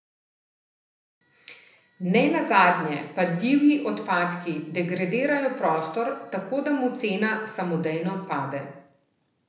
Ne nazadnje pa divji odpadki degradirajo prostor, tako da mu cena samodejno pade.